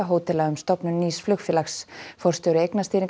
hótela um stofnun nýs flugfélags forstjóri